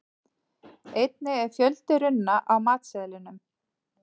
Einnig er fjöldi runna á matseðlinum.